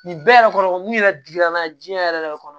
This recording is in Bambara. Nin bɛɛ yɛrɛ kɔnɔ mun yɛrɛ digira n'a diɲɛ yɛrɛ yɛrɛ de kɔnɔ